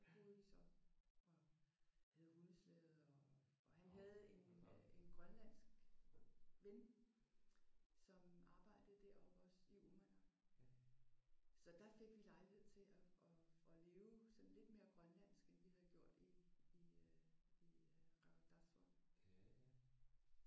Der boede vi så og havde hundeslæde og han havde en øh en grønlandsk ven som arbejdede deroppe også i Uummannaq. Så der fik vi lejlighed til at at leve sådan lidt mere grønlandsk end vi havde gjort i i øh i øh Qeqertarsuaq